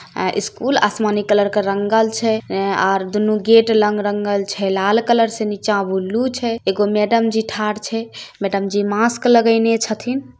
आ स्कूल आसमानी कलर के रंगल छै आर दूनु गेट लंग छै लाल कलर से नीचा ब्लू छै एगो मैडम जी ठाड़ छै मैडम जी मास्क लगेने छथीन।